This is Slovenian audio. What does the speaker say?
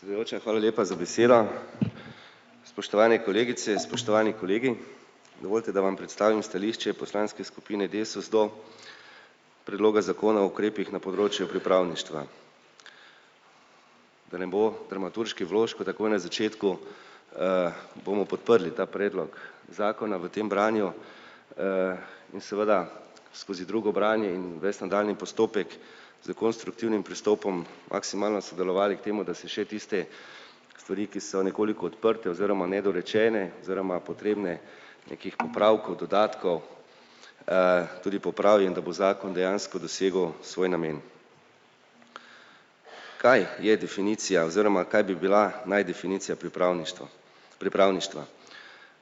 Predsedujoča, hvala lepa za besedo. Spoštovane kolegice, spoštovani kolegi. Dovolite, da vam predstavim stališče poslanske skupine Desus do predloga zakona o ukrepih na področju pripravništva. Da ne bo dramaturških vložkov takoj na začetku, bomo podprli ta predlog zakona v tem branju, in seveda skozi drugo branje in ves nadaljnji postopek s konstruktivnim pristopom maksimalno sodelovali k temu, da si še tiste stvari, ki so nekoliko odprte oziroma nedorečene oziroma potrebne nekih popravkov, dodatkov, tudi popravim, da bo zakon dejansko dosegel svoj namen. Kaj je definicija oziroma kaj bi bila naj definicija pripravništva? Pripravništva.